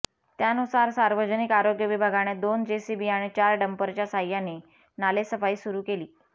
त्यानुसार सार्वजनिक आरोग्य विभागाने दोन जेसीबी आणि चार डंपरच्या सहाय्याने नालेसफाई सुरू केली